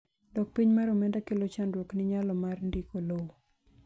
dok piny mar omenda kelo chandruok ni nyalo mar ndiko lowo